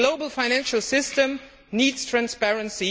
A global financial system needs transparency.